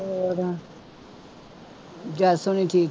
ਹੋਰ ਜਸ ਹੋਣੀ ਠੀਕ